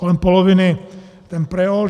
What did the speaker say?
Kolem poloviny ten Preol.